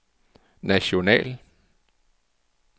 national